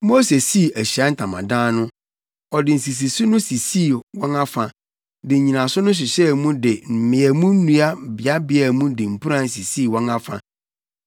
Mose sii Ahyiae Ntamadan no; ɔde nsisiso no sisii wɔn afa, de nnyinaso no hyehyɛɛ mu de mmeamu nnua beabea mu de mpuran sisii wɔn afa.